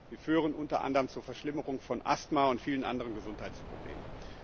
sie führen unter anderem zur Verschlimmerung von Asthma und vielen anderen Gesundheitsproblemen.